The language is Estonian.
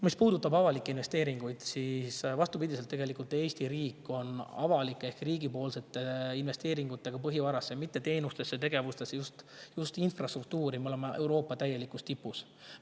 Mis puudutab avalikke investeeringuid, siis vastupidi, tegelikult Eesti riik on avalike ehk riiklike investeeringute poolest põhivarasse – mitte teenustesse ja tegevustesse, vaid just infrastruktuuri – Euroopa täielikus tipus.